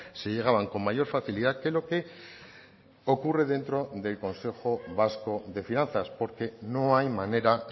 se llegaban con mayor facilidad que lo que ocurre dentro del consejo vasco de finanzas porque no hay manera